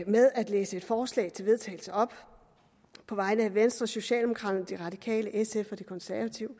med at læse et forslag til vedtagelse op på vegne af venstre socialdemokraterne de radikale sf og de konservative